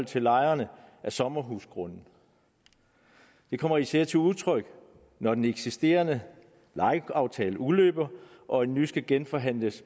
til lejerne af sommerhusgrunde det kommer især til udtryk når den eksisterende lejeaftale udløber og en ny skal genforhandles